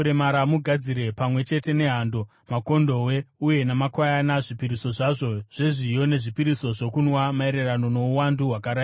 Mugadzire pamwe chete nehando, makondobwe, uye namakwayana, zvipiriso zvazvo zvezviyo nezvipiriso zvokunwa maererano nouwandu hwakarayirwa.